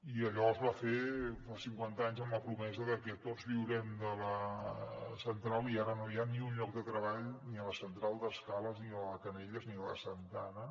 i allò es va fer fa cinquanta anys amb la promesa de que tots viurem de la central i ara no hi ha ni un lloc de treball ni a la central d’escales ni a la de canelles ni a la de santa ana